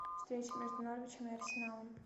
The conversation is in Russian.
встреча между норвичем и арсеналом